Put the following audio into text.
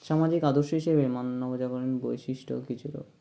সামাজিক আদর্শ হিসাবে মান্য নবজাগরণের বৈশিষ্ট্য কিছু~